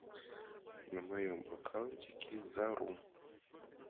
на моем аккаунте кизару